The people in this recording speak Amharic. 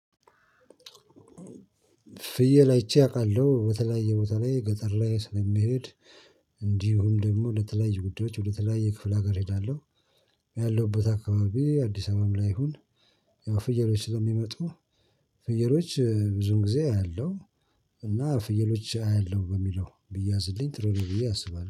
ፍየል አይቼ አውቃለሁ በተለያየ ቦታ ላይ ገጠር ላይ ስለሚሄድ እንዲሁም ደግሞ ለተለያዩ ጉዳዮች ወደ ተለያየ ክፍለ አገር እሄዳለሁ። እኔ ያለውበት አካባቢ አዲስ አበባም ላይ ይሁን። ያው ፍየሎች ስለሚመጡ ፍየሎች ብዙውን ጊዜ አያለሁ። እና ፍየሎች አያለሁ በሚለው ቢያዝልኝ ትሩ ነው ብዬ አስባለሁ